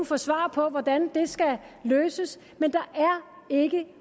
få svar på hvordan det skal løses men der er ikke